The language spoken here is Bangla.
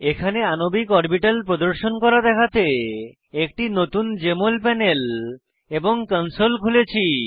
এখানে আণবিক অরবিটাল প্রদর্শন করা দেখাতে একটি নতুন জেএমএল প্যানেল এবং কনসোল খুলেছি